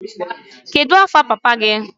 Kedu afa papa gị?